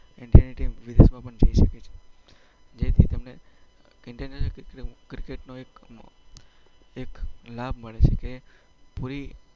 ઈન્ડિયાની ટીમ વિદેશમાં પણ જઈ શકે છે. જેથી તેમને ઈન્ટરનેશનલ ક્રિકેટનો એક લાભ મળે છે.